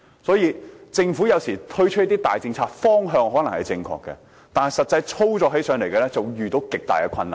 所以政府有時候推出大政策，方向可能正確，但實際操作起來便會遇到極大困難。